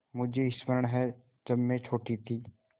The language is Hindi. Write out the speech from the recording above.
मुझे स्मरण है जब मैं छोटी थी